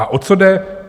A o co jde?